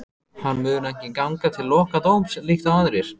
Hann mun ekki ganga til lokadómsins líkt og aðrir.